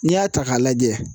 N'i y'a ta k'a lajɛ